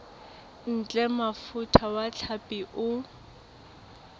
ntle mofuta wa hlapi o